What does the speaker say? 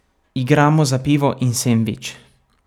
Igramo za pivo in sendvič.